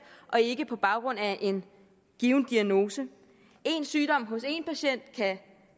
og ikke på baggrund af en given diagnose en sygdom hos en patient kan